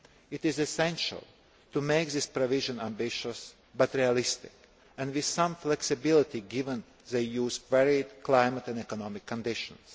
It is essential to make this provision ambitious but realistic, and with some flexibility given the EU's varied climate and economic conditions.